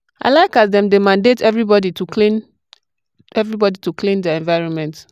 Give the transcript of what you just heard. i like as dem take dey mandate everbody to clean everbody to clean their environment.